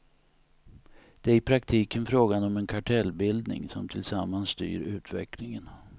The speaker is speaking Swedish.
Det är i praktiken frågan om en kartellbildning som tillsammans styr utvecklingen.